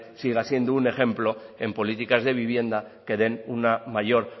siga siendo un ejemplo en políticas de vivienda que den una mayor